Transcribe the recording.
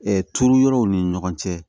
turu yɔrɔw ni ɲɔgɔn cɛ